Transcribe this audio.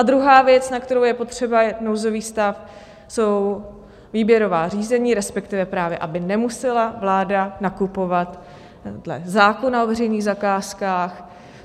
A druhá věc, na kterou je potřeba nouzový stav, jsou výběrová řízení, respektive právě aby nemusela vláda nakupovat dle zákona o veřejných zakázkách.